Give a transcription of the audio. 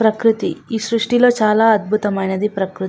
పకృతి ఈ సృష్టిలో చాలా అందమైనది ప్రకృతి.